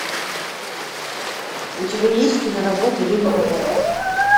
у тебя есть киноработа ведьмина гора